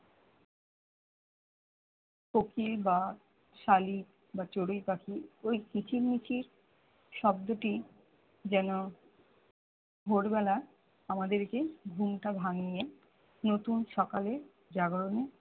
কোকিল বা শালিক বা চড়ুই পাখি ওই কিচির মিচির শব্দটি যেন ভোরবেলা আমাদেরকে ঘুমটা ভাঙিয়ে নতুন সকালে জাগরণে